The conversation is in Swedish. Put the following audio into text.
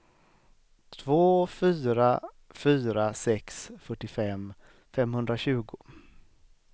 två fyra fyra sex fyrtiofem femhundratjugo